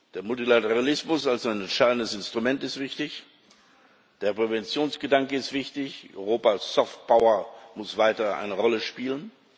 Der Multilateralismus als entscheidendes Instrument ist wichtig, der Präventionsgedanke ist wichtig, Europas Soft Power muss weiter eine Rolle spielen.